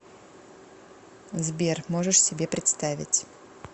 сбер можешь себе представить